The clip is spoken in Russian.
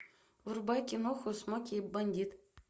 врубай киноху смоки и бандит